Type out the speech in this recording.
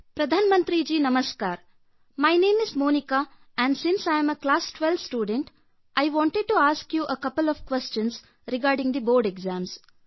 ಪ್ರಧಾನಮಂತ್ರಿಯವರೇ ನಮಸ್ಕಾರ ನನ್ನ ಹೆಸರು ಮೋನಿಕಾ ಮತ್ತು ನಾನು 12ನೇ ತರಗತಿ ವಿದ್ಯಾರ್ಥಿನಿಯಾಗಿರುವ ಹಿನ್ನೆಲೆಯಲ್ಲಿ ನಾನು ಬೋರ್ಡ್ ಪರೀಕ್ಷೆಗೆ ಸಂಬಂಧಿಸಿದಂತೆ ಕೆಲವೊಂದು ಪ್ರಶ್ನೆಗಳನ್ನು ಕೇಳಲು ಇಚ್ಛಿಸುತ್ತೇನೆ